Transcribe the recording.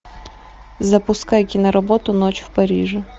запускай киноработу ночь в париже